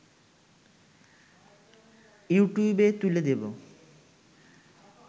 ‘ইউটিউবে’ তুলে দেব